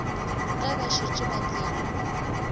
ge ba šetše ba tsene